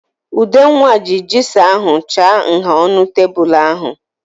Udenwa ji jigsọ ahụ chaa nha ọnụ tebụl ahụ.